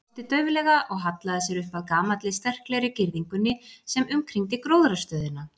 Hann brosti dauflega og hallaði sér upp að gamalli, sterklegri girðingunni sem umkringdi gróðrarstöðina.